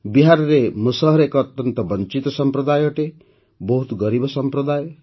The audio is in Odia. ବିହାରରେ ମୁସହର ଏକ ଅତ୍ୟନ୍ତ ବଞ୍ଚିତ ସମ୍ପ୍ରଦାୟ ଅଟେ ବହୁତ ଗରିବ ସମ୍ପ୍ରଦାୟ